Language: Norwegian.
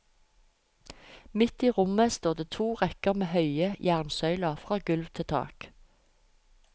Midt i rommet står det to rekker med høye jernsøyler fra gulv til tak.